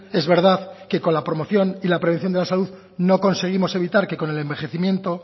es verdad que con la promoción y la prevención de la salud no conseguimos evitar que con el envejecimiento